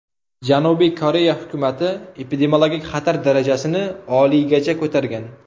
Janubiy Koreya hukumati epidemiologik xatar darajasini oliygacha ko‘targan.